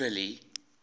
billy